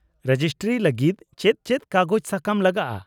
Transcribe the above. -Registry ᱞᱟᱹᱜᱤᱫ ᱪᱮᱫ ᱪᱮᱫ ᱠᱟᱜᱚᱡᱽ ᱥᱟᱠᱟᱢ ᱞᱟᱜᱟᱜᱼᱟ ?